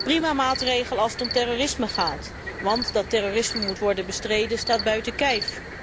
Prima maatregel als het om terrorisme gaat, want dat terrorisme moet worden bestreden, staat buiten kijf.